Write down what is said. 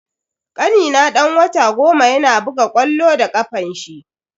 Kanina dan wata goma yana buga ƙwallo da kafanshi.